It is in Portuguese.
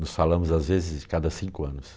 Nos falamos às vezes cada cinco anos.